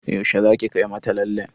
Yaushe zaki kai mata lallen?